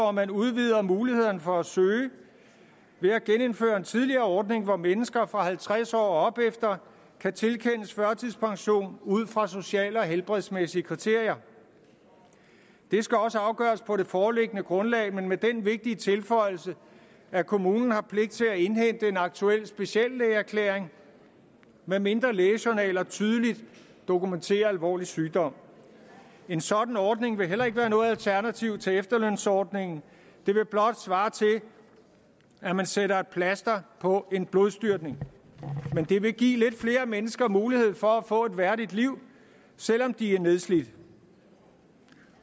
at man udvider mulighederne for at søge ved at genindføre en tidligere ordning hvor mennesker fra halvtreds år og opefter kan tilkendes førtidspension ud fra sociale og helbredsmæssige kriterier det skal også afgøres på det foreliggende grundlag men med den vigtige tilføjelse at kommunen har pligt til at indhente en aktuel speciallægeerklæring medmindre lægejournaler tydeligt dokumenterer alvorlig sygdom en sådan ordning vil heller ikke være noget alternativ til efterlønsordningen det vil blot svare til at man sætter et plaster på en blodstyrtning men det vil give lidt flere mennesker mulighed for at få et værdigt liv selv om de er nedslidt